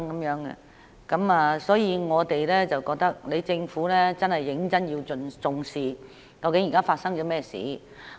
有鑒於此，我認為政府真的要認真重視，現在究竟發生甚麼事情。